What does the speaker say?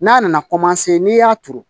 N'a nana n'i y'a turu